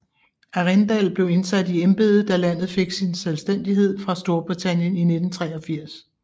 Arrindell blev indsat i embedet da landet fik sin selvstændighed fra Storbritannien i 1983